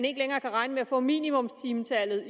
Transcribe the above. ikke længere kan regne med at få minimumstimetallet og